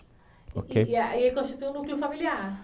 E aí constitui um núcleo familiar.